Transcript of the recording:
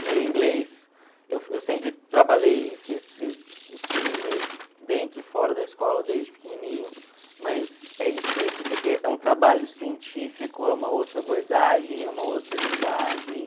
O meu inglês, eu eu sempre trabalhei, fiz fiz eu inglês dentro e fora da escola desde pequenininho, mas é difícil porque é um trabalho científico, é uma outra abordagem, é uma outra linguagem.